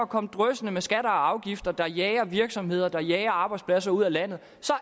komme dryssende med skatter og afgifter der jager virksomheder der jager arbejdspladser ud af landet